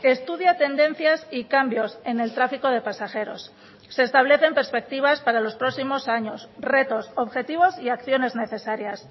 estudia tendencias y cambios en el tráfico de pasajeros se establecen perspectivas para los próximos años retos objetivos y acciones necesarias